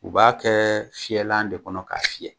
U b'a kɛ fiyɛlan de kɔnɔ k'a fiyɛ